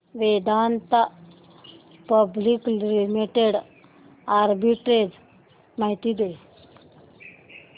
Vedanta public limited arbitrage माहिती दे